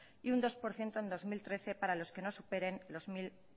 y un dos por ciento en dos mil trece para los que no superen los mil